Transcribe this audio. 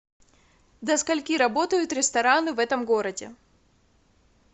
до скольки работают рестораны в этом городе